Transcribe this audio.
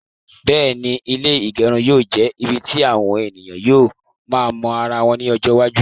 Bẹ́ẹ̀ni, ilé ígẹrun yóò jẹ ibì tí àwọn ènìyàn yóò máa mọ ara wọn ní ọjọ iwájú